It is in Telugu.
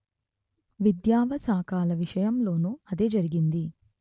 విద్యావకాశాల విషయంలోనూ అదే జరిగింది